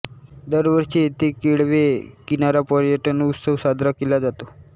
दरवर्षी येथे केळवे किनारा पर्यटन उत्सव साजरा केला जातो